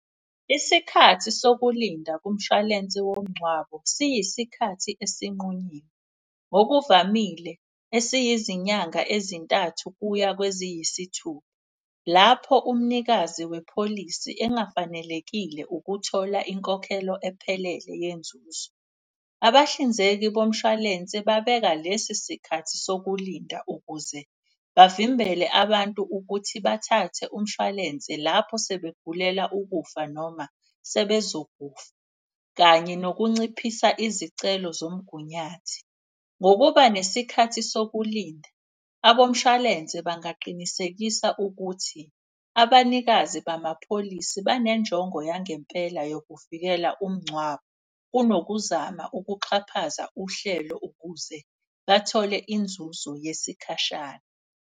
Isikhathi sokulinda kumshwalensi womngcwabo siyisikhathi esinqunyiwe, ngokuvamile esiyizinyanga ezintathu kuya kweziyisithupha. Lapho umnikazi wepholisi engafanelekile ukuthola inkokhelo ephelele yenzuzo. Abahlinzeki bomshwalense babeka lesi sikhathi sokulinda ukuze bavimbele abantu. Ukuthi bathathe umshwalense lapho sebegulela ukufa noma sebezokufa kanye nokunciphisa izicelo zomgunyathi. Ngokuba nesikhathi sokulinda abomshwalense bangaqinisekisa. Ukuthi abanikazi bamapholisi banenjongo yangempela yokuvikela umngcwabo. Kunokuzama ukuxhaphaza uhlelo ukuze bathole inzuzo yesikhashana.